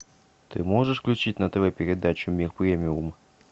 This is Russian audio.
ты можешь включить на тв передачу мир премиум